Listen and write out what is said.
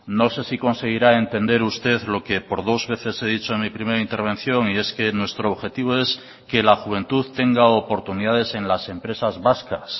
no sé si conseguirá entender usted lo que por dos veces he dicho en mi primera intervención y es que nuestro objetivo es que la juventud tenga oportunidades en las empresas vascas